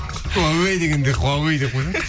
хуавэй дегенге хуавэй деп қойсай